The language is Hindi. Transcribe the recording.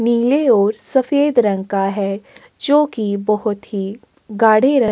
नील और सफेद रंग का है जो की बहोत ही गाड़े --